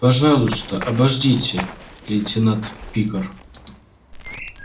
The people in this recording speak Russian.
пожалуйста обождите лейтенант пикар